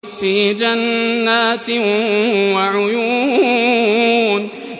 فِي جَنَّاتٍ وَعُيُونٍ